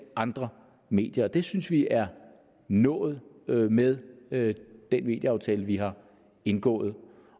andre medier det synes vi er nået nået med med den medieaftale vi har indgået